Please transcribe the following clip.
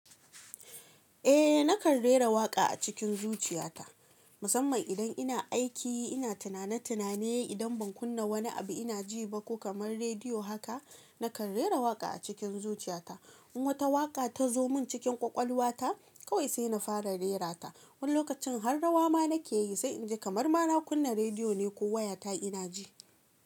Eh nakan rera waƙa a cikin zuciyata musamman idan ina aiki ina tunane tunane idan ban kunna wani abu ina ji ba ko kamar rediyo haka nakan rera waƙa a cikin zuciyata in wata waƙa ta zo mun cikin ƙwaƙwalwa ta kawai sai na fara rera ta wani lokacin har rawa ma nake yi sai in ji kamar ma na kunna rediyo ne ko waya ta ina ji.